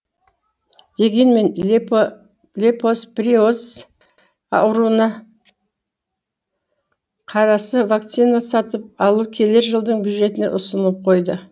дегенмен лептоспироз ауруына қарасы вакцина сатып алу келер жылдың бюджетіне ұсынылып қойды